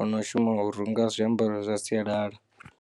ono shuma u runga zwiambaro zwa sialala.